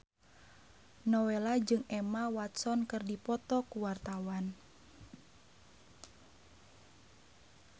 Nowela jeung Emma Watson keur dipoto ku wartawan